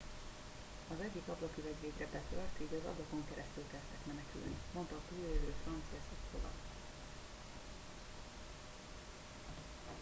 az egyik ablaküveg végre betört így az ablakon keresztül kezdtek menekülni mondta a túlélő franciszek kowal